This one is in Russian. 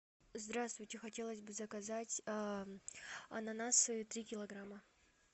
здравствуйте хотелось бы заказать ананасы три килограмма